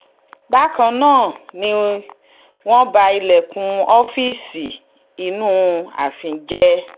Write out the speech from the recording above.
bákan náà ni wọ́n ba ilẹ̀kùn ọ́fíìsì inú ààfin jẹ́